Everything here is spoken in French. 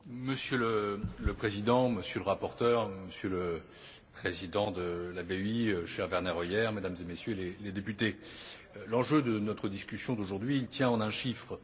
Monsieur le Président, Monsieur le rapporteur, Monsieur le Président de la BEI, cher Werner Hoyer, Mesdames et Messieurs les députés, l'enjeu de notre discussion aujourd'hui tient en un chiffre.